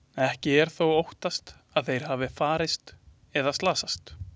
Ekki er þó óttast að þeir hafi farist eða slasast.